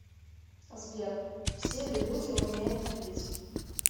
сбер все ли люди умеют любить